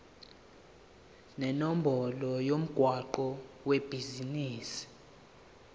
nenombolo yomgwaqo webhizinisi